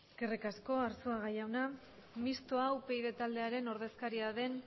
eskerrik asko azuaga jauna mistoa upyd taldearen ordezkaria den